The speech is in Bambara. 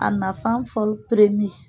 A nafan fɔli